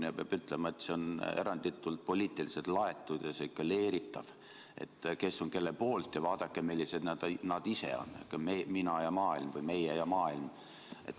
Ja peab ütlema, et see on eranditult poliitiliselt laetud ja sihuke leeritav, et kes on kelle poolt ja vaadake, millised nad ise on – selline "mina ja maailm" või "meie ja maailm".